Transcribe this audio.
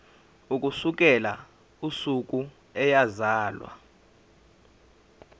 ukusukela usuku eyazalwa